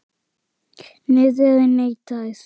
Hirðin neitaði því.